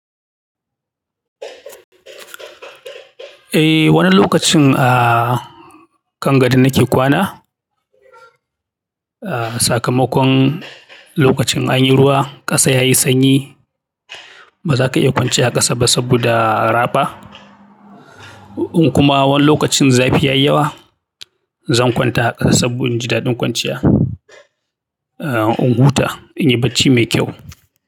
Eh, wani lokacin a kan gado nake kwana. Sakamakon lokacin anyi ruwa ƙasa yayi sanyi ba za ka iya kwanciya a ƙasa ba saboda raɓa. In kuma wani lokacin zafi ya yi yawa, zan kwanta a ƙasa saboda in ji daɗin kwanciya, in huta, in yi bacci mai kyau.